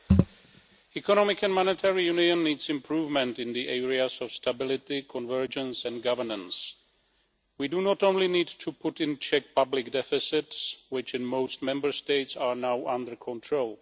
Mr President, the Economic and Monetary Union needs improvement in the areas of stability, convergence and governance. We do not only need to put in check public deficits, which in most Member States are now under control.